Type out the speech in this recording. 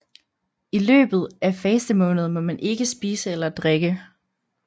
I løbet af fastemåneden må man ikke spise eller drikke